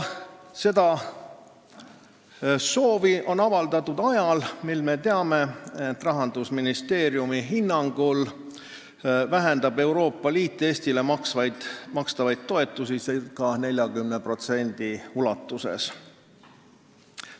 Seda valmidust on avaldatud ajal, mil me teame, et Rahandusministeeriumi hinnangul vähendab Euroopa Liit Eestile makstavaid toetusi ca 40% ulatuses.